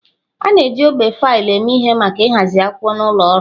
A na-eji ogbe faịlụ eme ihe maka ịhazi akwụkwọ n'ụlọ ọrụ.